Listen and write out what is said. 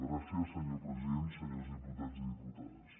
gràcies senyor president senyors diputats i diputades